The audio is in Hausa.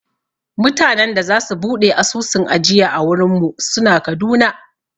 Mutanen da za su buɗe asusun ajiya a wurin mu suna Kaduna